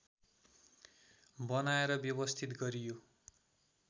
बनाएर व्यवस्थित गरियो